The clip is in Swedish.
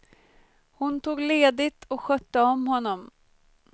Hon tog ledigt och skötte om honom.